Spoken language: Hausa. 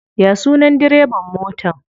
Ya sunan direban motan?